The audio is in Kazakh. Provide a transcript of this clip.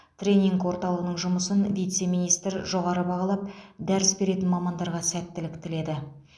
тренинг орталығының жұмысын вице министр жоғары бағалап дәріс беретін мамандарға сәттілік тіледі